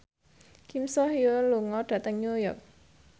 Kim So Hyun lunga dhateng New York